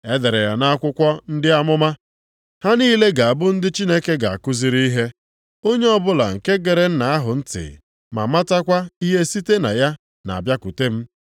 E dere ya nʼakwụkwọ ndị amụma, ‘Ha niile ga-abụ ndị Chineke ga-akụziri ihe.’ + 6:45 \+xt Aịz 54:13\+xt* Onye ọbụla nke gere Nna ahụ ntị ma mụtakwa ihe site na ya na-abịakwute m.